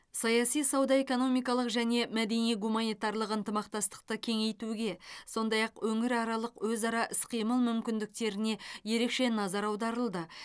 саяси сауда экономикалық және мәдени гуманитарлық ынтымақтастықты кеңейтуге сондай ақ өңіраралық өзара іс қимыл мүмкіндіктеріне ерекше назар аударылды